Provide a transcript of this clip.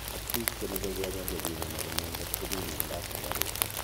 at piik chemeye Kenya chepimani konai ngot komii mianda ap sugaruk?